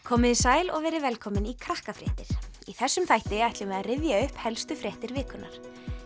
komiði sæl og verið velkomin í Krakkafréttir í þessum þætti ætlum við að rifja upp helstu fréttir vikunnar